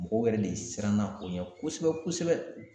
Mɔgɔw yɛrɛ de siranna a ko ɲɛ kosɛbɛ kosɛbɛ